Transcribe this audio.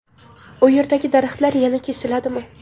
u yerdagi daraxtlar yana kesiladimi?.